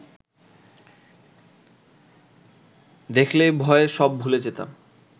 দেখলেই ভয়ে সব ভুলে যেতাম